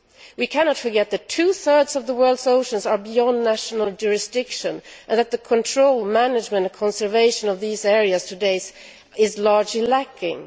We cannot forget that two thirds of the world's oceans are beyond national jurisdiction, and that the control, management and conservation of these areas today is largely lacking.